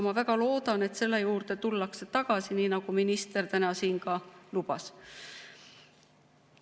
Ma väga loodan, et selle juurde tullakse tagasi, nii nagu minister täna siin ka lubas.